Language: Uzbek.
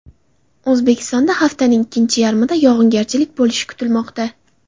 O‘zbekistonda haftaning ikkinchi yarmida yog‘ingarchilik bo‘lishi kutilmoqda.